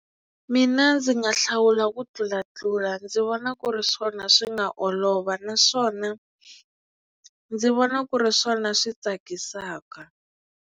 Mina ndzi nga hlawula ku tlulatlula ndzi vona ku ri swona swi nga olova naswona ndzi vona ku ri swona swi tsakisaka.